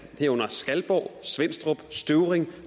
herunder skalborg svenstrup støvring